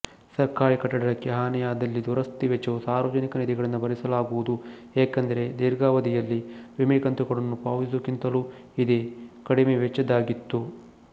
ಸರ್ಕಾರೀ ಕಟ್ಟಡಕ್ಕೆ ಹಾನಿಯಾದಲ್ಲಿ ದುರಸ್ತಿ ವೆಚ್ಚವು ಸಾರ್ವಜನಿಕ ನಿಧಿಗಳಿಂದ ಭರಿಸಲಾಗುವುದು ಏಕೆಂದರೆ ದೀರ್ಘಾವಧಿಯಲ್ಲಿ ವಿಮೆಕಂತುಗಳನ್ನು ಪಾವತಿಸುವುದಕ್ಕಿಂತಲೂ ಇದೇ ಕಡಿಮೆ ವೆಚ್ಚದ್ದಾಗಿತ್ತು